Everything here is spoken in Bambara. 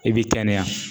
I b'i kɛnɛya